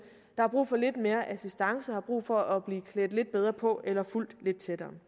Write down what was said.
har brug for lidt mere assistance har brug for at blive klædt lidt bedre på eller fulgt lidt tættere